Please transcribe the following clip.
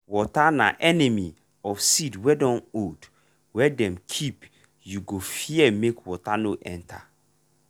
water na enemy of seed wey dun old wey dem keep you go fear make water no enter.